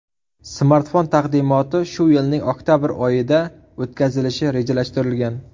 Smartfon taqdimoti shu yilning oktabr oyida o‘tkazilishi rejalashtirilgan.